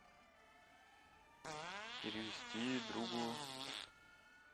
перевести другу